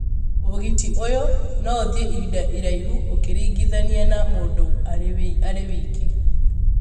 ũgiti ũyũ no ũthiĩ ihinda iraihu ũkĩringithania na mũndũ arĩ wiki.